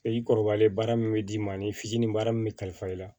I kɔrɔbalen baara min bɛ d'i ma ni fitinin baara min bɛ kalifa i la